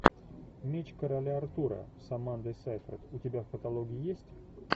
меч короля артура с амандой сейфрид у тебя в каталоге есть